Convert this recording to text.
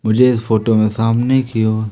मुझे इस फोटो में सामने की ओर--